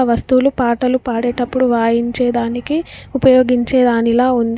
ఆ వస్తువులు పాటలు పాడేటప్పుడు వాయించేదానికి ఉపయోగించే దానిలా ఉంది.